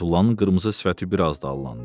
Fətullanın qırmızı sifəti bir az da allandı.